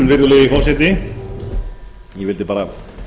virðulegi forseti ég vildi bara